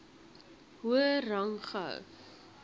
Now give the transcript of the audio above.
hoër rang gehou